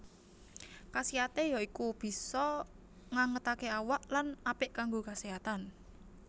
Kasiaté ya iku bisa ngangetaké awak lan apik kanggo keséhatan